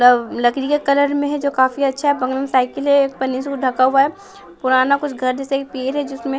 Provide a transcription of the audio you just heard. लकड़ी के कलर में है जो काफी अच्छा है बगल में साइकिल हैं ये पन्नी से ढका हुआ है पुराना कुछ घर जैसा है जिसमें--